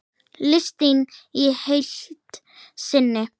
Listinn í heild sinni